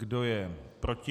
Kdo je proti?